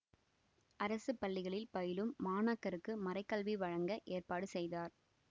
அரசு பள்ளிகளில் பயிலும் மாணாக்கருக்கு மறைகல்வி வழங்க ஏற்பாடு செய்தார்